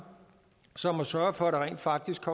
som at sørge for at der rent faktisk